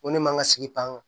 Ko ne man ka sigi pan ka